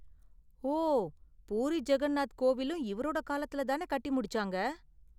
ஓ, பூரி ஜகன்நாத் கோவிலும் இவரோட காலத்துல தானே கட்டி முடிச்சாங்க?